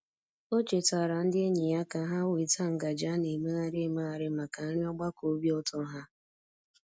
O chetaara ndị enyi ya ka ha weta ngaji a na-emegharị emegharị maka nri ogbakọ obi ụtọ ha.